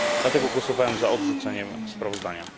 Dlatego głosowałem za odrzuceniem sprawozdania.